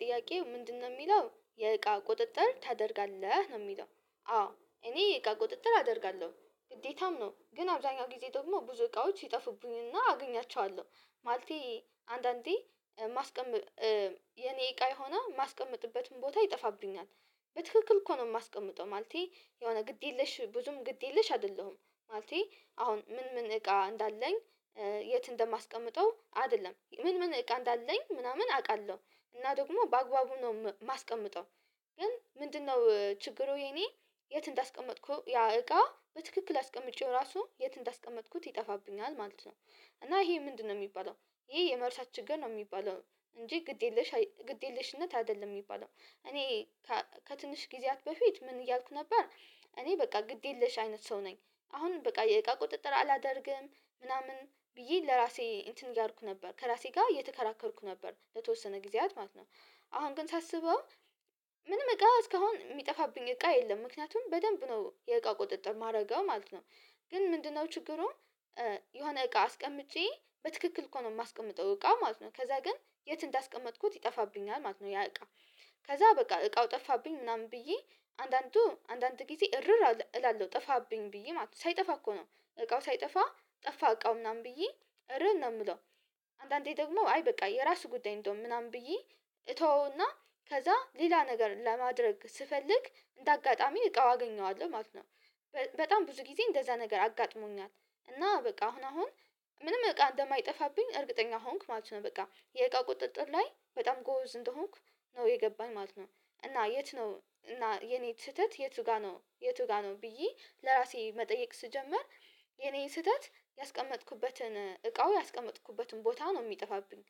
ጥያቄው ምንድነው የሚለው የእቃ ቁጥጥር ታደርጋለህ ነው የሚለው? አዎ እኔ እቃ ቁጥጥር አደርጋለሁ ግዴታም ነው ግን አብዛኛው ጊዜ ብዙ ብዙ እቃዎች ይጠፉብኝና አገኛቸዋለሁ። ማለቴ አንዳንዴ የኔ እቃ የሆነ የማስቀምጥበትን ቦታ ይጠፋብኛል። በትክክል እኮ ነው የማስቀምጠው ማለቴ የሆነ ግድ የለሽ ብዙም ግድ የለሽ አይደለሁም። ማለቴ አሁን ምን ምን እቃ እንዳለኝ የት እንደማስቀምጠው አይደለም ምን ምን እቃ እንዳለኝ ምናምን አውቃለሁ እና ደግሞ በአግባቡ ነው የማስቀምጠው። ግን ምንድነው ችግሩ የኔ የት እንዳስቀመጥኩ ያ እቃ በትክክል አስቀምጬው ራሱ የት እንዳስቀመጥኩት ይጠፋብኛል ማለት ነው። እና ይሄ ምንድነው የሚባለው? ይሄ የመርሳት ችግር ነው የሚባለው። እንጂ ግድ የለሽ ግድ የለሽነት አይደለም የሚባለው እኔ ከትንሽ ጊዜያት በፊት ምን እያልኩ ነበር እኔ በቃ ግድ የለሽ አይነት ሰው ነኝ። አሁን በቃ የእቃ ቁጥጥር አላደርግም ምናምን ብዬ ለራሴ እንትን እያልኩ ነበር ከራሴ ጋር እየተከራከርኩ ነበር ለተወሰነ ጊዜያት ማለት ነው። አሁን ግን ሳስበው ምንም እቃ እስካሁን የሚጠፋብኝ እቃ የለም ምክንያቱም በደንብ ነው የእቃ ቁጥጥር የማደርገው ማለት ነው። ግን ምንድነው ችግሩን? የሆነ እቃ አስቀምጬ በትክክል እኮ ነው የማስቀምጠው እቃ ማለት ነው ከዛ ግን የት እንዳስቀመጥኩት ይጠፋብኛል ማለት ነው። ያ እቃ ከዛ በቃ እቃው ጠፋብኝ ምናምን ብዬ አንዳንዱ አንዳንድ ጊዜ እርር እላለሁ ጠፋብኝ ብዬ ማለት ነው ሳይጠፋ እኮ ነው እቃው ሳይጠፋ ጠፋ እቃው ምናምን ብዬ እርር ነው የምለው። አንዳንዴ ደግሞ አይ በቃ የራሱ ጉዳይ እንደውም ምናምን ብዬ እተወውና ከዛ ሌላ ነገር ለማድረግ ስፈልግ እንደ አጋጣሚ እቃው አገኘዋለሁ ማለት ነው። በጣም ብዙ ጊዜ እንደዛ ነገር አጋጥሞኛል እና በቃ አሁን አሁን ምንም እቃ እንደማይጠፋብኝ እርግጠኛ ሆንክ ማለት ነው በቃ የእቃ ቁጥጥር ላይ በጣም ጎዝ እንደሆንክ ነው የገባን ማለት ነው። እና የት ነው እና የኔ ስህተት የቱ ጋር ነው የቱ ጋር ነው ብዬ ለራሴ መጠየቅ ስጀምር። የኔ ስህተት ያስቀመጥኩበትን እቃው ያስቀመጥኩበትን ቦታ ነው የሚጠፋብኝ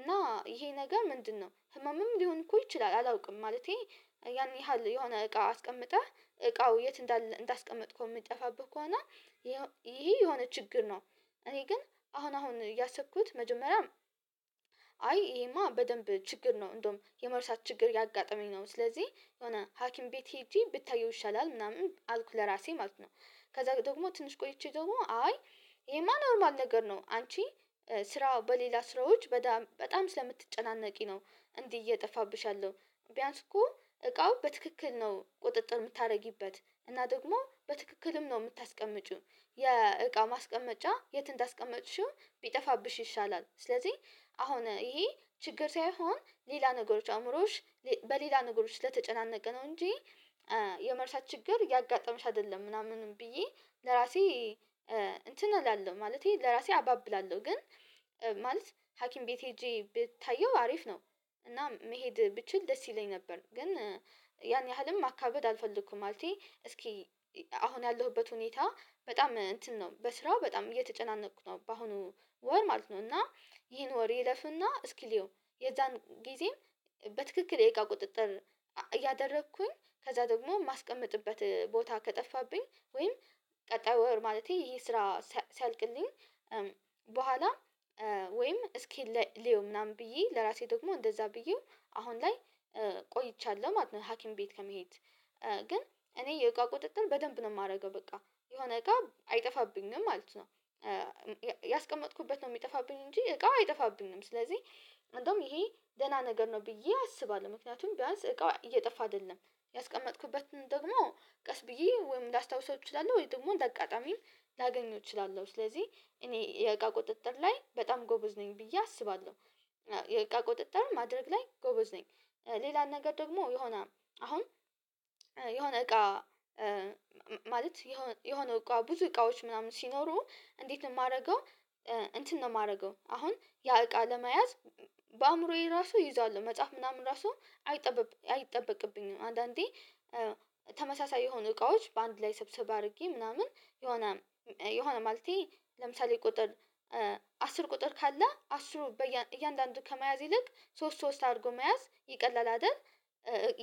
እና ይሄ ነገር ምንድነው ህመምም ሊሆን እኮ ይችላል አላውቅም ማለቴ ያን ያህል የሆነ እቃው አስቀምጠህ እቃው የት እንዳስቀመጥኩ የሚጠፋብህ እኮ እና ይሄ የሆነ ችግር ነው። እኔ ግን አሁን አሁን እያሰብኩት መጀመሪያም አይ ይሄማ በደንብ ችግር ነው እንደውም የመርሳት ችግር ያጋጠመኝ ነው ስለዚህ የሆነ ሀኪም ቤት ሄጄ ብታየው ይሻላል ምናምን አልኩ ለራሴ ማለት ነው። ከዛ ደግሞ ትንሽ ቆይቼ ደግሞ አይ ይህማ ኖርማል ነገር ነው አንቺ ስራ በሌላ ስራዎች በጣም ስለምትጨናነቂ ነው እንዲህ እየጠፋብሽ ያለው። ቢያንስ እኮ እቃው በትክክል ነው ቁጥጥር የምታደርጊበት እና ደግሞ በትክክልም ነው የምታስቀምጪው የእቃ ማስቀመጫ የት እንዳስቀመጥሽው ቢጠፋብሽ ይሻላል ስለዚህ አሁን ይሄ ችግር ሳይሆን ሌላ ነገሮች አእምሮዎች በሌላ ነገሮች ለተጨናነቀ ነው እንጂ የመርሳት ችግር ያጋጠመሽ አይደለም። ምናምንም ብዬ ለራሴ እንትን አላለውም ማለቴ ለራሴ አባብላለው ግን ማለት ሀኪም ቤት ሄጄ ብታየው አሪፍ ነው። እና መሄድ ብችል ደስ ይለኝ ነበር ግን ያን ያህልም ማካበድ አልፈልግኩም ማለቴ እስኪ አሁን ያለሁበት ሁኔታ በጣም እንትን ነው በስራው በጣም እየተጨናነቅኩ ነው በአሁኑ ወር ማለት ነው። እና ይሄን ወር ይለፍና እስኪ ሊሆን የዛን ጊዜም በትክክል ደቂቃ ቁጥጥር ያደረግኩኝ ከዛ ደግሞ የማስቀምጥበት ቦታ ከጠፋብኝ ወይም ቀጣዩ ወር ማለቴ ይሄ ስራ ሲያልቅልኝ በኋላ ወይም እስኪ ልየው ምናምን ብዬ ለራሴ ደግሞ እንደዛ ብዬው አሁን ላይ ቆይቻለሁ ማለት ነው ሀኪም ቤት ከመሄድ ግን እኔ የእቃ ቁጥጥን በደንብ ነው የማደርገው በቃ የሆነ እቃ አይጠፋብኝም ማለት ነው። ያስቀመጥኩበት ነው የሚጠፋብኝ እንጂ እቃ አይጠፋብንም ስለዚህ አንዱም ይሄ ደህና ነገር ነው ብዬ አስባለሁ ምክንያቱም ቢያንስ እቃው እየጠፋ አይደለም ያስቀመጥኩበትን ደግሞ ቀስ ብዬ ወይም ላስታውሰው እችላለሁ ወይም ደግሞ እንደ አቃጣሚ ላገኘው እችላለሁ ስለዚህ እኔ የእቃ ቁጥጥር ላይ በጣም ጎበዝ ነኝ ብዬ አስባለሁ። የእቃ ቁጥጥርም ማድረግ ላይ ጎበዝ ነኝ። ሌላን ነገር ደግሞ የሆነ አሁን የሆነ እቃ ማለት የሆነ የሆነ እቃ ብዙ እቃዎች ምናምን ሲኖሩ እንዴት ነው የማደርገው? እንትን ነው የማደርገው አሁን ያ እቃ ለመያዝ በአእምሮዬ ራሱ ይዘዋለው መጻፍ ምናምን እራሱ አይጠበቅብኝም አንዳንዴ ተመሳሳይ የሆኑ እቃዎች በአንድ ላይ ሰብሰብ አድርጌ ምናምን የሆነ የሆነ ማለቴ ለምሳሌ ቁጥር አስር ቁጥር ካለ አስሩ በእያንዳንዱ ከመያዝ ይልቅ ሶስት ሶስት አድርጎ መያዝ ይቀላል አይደል?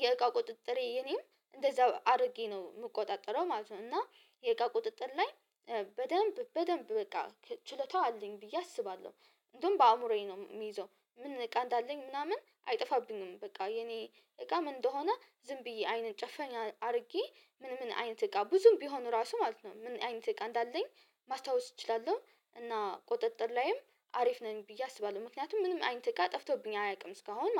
የእቃ ቁጥጥሬ የኔም እንደዛው አድርጌ ነው የምቆጣጠረው ማለት ነው። እና የእቃ ቁጥጥር ላይ በደንብ በደንብ በቃ ችሎታው አለኝ ብዬ አስባለሁ። እንደውም በአእምሮዬ ነው የሚይዘው ምን እቃ እንዳለኝ ምናምን አይጠፋብኝም። በቃ የኔ እቃ ምን እንደሆነ ዝም ብዬ አይንን ጨፈኝ አድርጌ ምን ምን አይነት እቃ ብዙም ቢሆን ራሱ ማለት ነው ምን አይነት እቃ እንዳለኝ ማስታወስ እችላለሁ። እና ቁጥጥር ላይም አሪፍ ነኝ ብዬ አስባለሁ ምክንያቱም ምንም አይንት ጋር ጠፍቶብኝ አያውቅም እስካሁን ማለት ነው